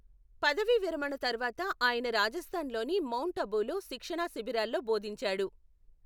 పదవీ విరమణ తర్వాత, ఆయన రాజస్థాన్లోని మౌంట్ అబూలో శిక్షణా శిబిరాల్లో బోధించాడు.